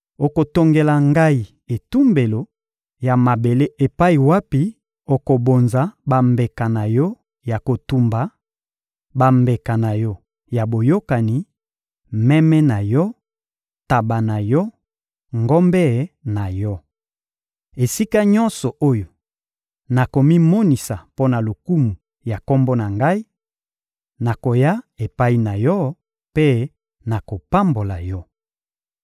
Okotongela Ngai etumbelo ya mabele epai wapi okobonza bambeka na yo ya kotumba, bambeka na yo ya boyokani, meme na yo, ntaba na yo, ngombe na yo. Esika nyonso oyo nakomimonisa mpo na lokumu ya Kombo na Ngai, nakoya epai na yo mpe nakopambola yo.